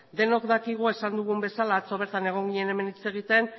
denok dakigu esan dugun bezala atzo bertan egon ginen hemen hitz egiten